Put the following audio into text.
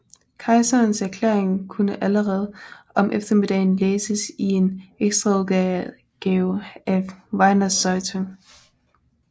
Kejserens erklæring kunne allerede om eftermiddagen læses i en ekstraudgave af Wiener Zeitung